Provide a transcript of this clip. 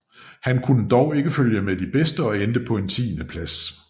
Han kunne dog ikke følge med de bedste og endte på en tiendeplads